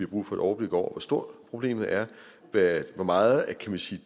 brug for et overblik over hvor stort problemet er hvor meget kan man sige